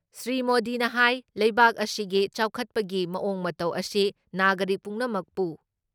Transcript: ꯁ꯭ꯔꯤ ꯃꯣꯗꯤꯅ ꯍꯥꯏ ꯂꯩꯕꯥꯛ ꯑꯁꯤꯒꯤ ꯆꯥꯎꯈꯠꯄꯒꯤ ꯃꯑꯣꯡ ꯃꯇꯧ ꯑꯁꯤ ꯅꯥꯒꯔꯤꯛ ꯄꯨꯝꯅꯃꯛꯄꯨ